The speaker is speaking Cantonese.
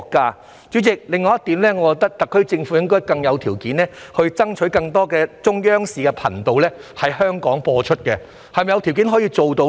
代理主席，另外一點，我認為特區政府應該有條件爭取在香港播放更多中央頻道，是否有條件做到呢？